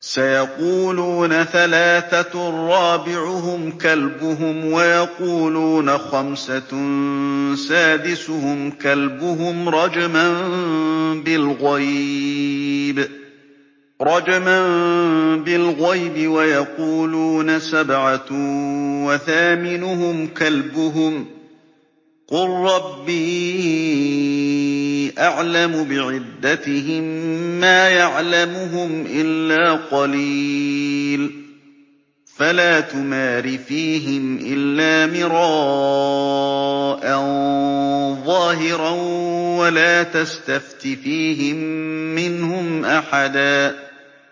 سَيَقُولُونَ ثَلَاثَةٌ رَّابِعُهُمْ كَلْبُهُمْ وَيَقُولُونَ خَمْسَةٌ سَادِسُهُمْ كَلْبُهُمْ رَجْمًا بِالْغَيْبِ ۖ وَيَقُولُونَ سَبْعَةٌ وَثَامِنُهُمْ كَلْبُهُمْ ۚ قُل رَّبِّي أَعْلَمُ بِعِدَّتِهِم مَّا يَعْلَمُهُمْ إِلَّا قَلِيلٌ ۗ فَلَا تُمَارِ فِيهِمْ إِلَّا مِرَاءً ظَاهِرًا وَلَا تَسْتَفْتِ فِيهِم مِّنْهُمْ أَحَدًا